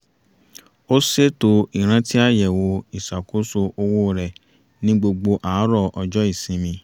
ó ṣètò ìrańtí àyẹ̀wò ìṣàkóso owó rẹ̀ ní gbogbo àárọ̀ ọjọ́ ìsinmi